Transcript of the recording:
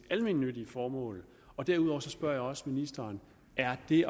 almennyttige formål og derudover spørger jeg også ministeren er det